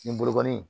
Nin bolo in